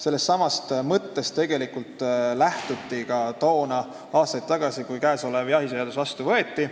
Sellestsamast mõttest tegelikult lähtuti ka toona, aastaid tagasi, kui jahiseadus vastu võeti.